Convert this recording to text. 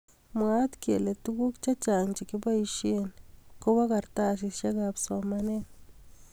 Mwaat kele tukuk chechang chekiboishe kobo karatasishek ab somanet.